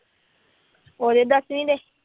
ਉਹਦੇ ਦਸਵੀਂ ਦੇ